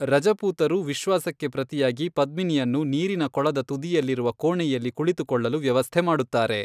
ರಜಪೂತರು ವಿಶ್ವಾಸಕ್ಕೆ ಪ್ರತಿಯಾಗಿ ಪದ್ಮಿನಿಯನ್ನು ನೀರಿನ ಕೊಳದ ತುದಿಯಲ್ಲಿರುವ ಕೋಣೆಯಲ್ಲಿ ಕುಳಿತುಕೊಳ್ಳಲು ವ್ಯವಸ್ಥೆ ಮಾಡುತ್ತಾರೆ.